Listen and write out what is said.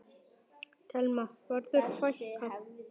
Telma: Verður fækkað?